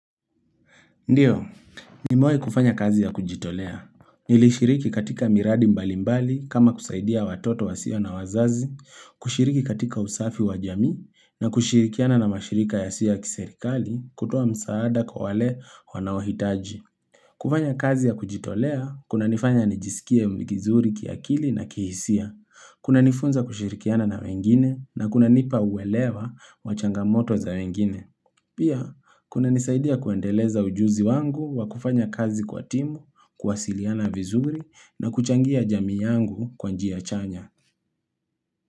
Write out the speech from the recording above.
Ndiyo, ni mewai kufanya kazi ya kujitolea. Nilishiriki katika miradi mbali mbali kama kusaidia watoto wa siyo na wazazi, kushiriki katika usafi wa jamii, na kushirikiana na mashirika ya siyo ya kiserikali kutoa msaada kwa wale wanawahitaji. Kufanya kazi ya kujitolea, kuna nifanya nijisikie umlikizuri kiakili na kihisia, kuna nifunza kushirikiana na wengine, na kuna nipa uelewa wachangamoto za wengine. Pia, kuna nisaidia kuendeleza ujuzi wangu wa kufanya kazi kwa timu, kuwa siliana vizuri na kuchangia jamii yangu kwa njia chanya.